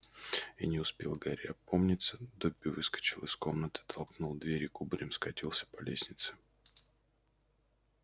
и не успел гарри опомниться добби выскочил из комнаты толкнул дверь и кубарем скатился по лестнице